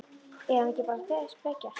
Er hann ekki bara að spekjast?